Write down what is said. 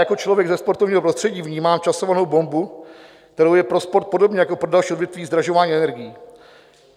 Jako člověk ze sportovního prostředí vnímám časovanou bombu, kterou je pro sport, podobně jako pro další odvětví, zdražování energií.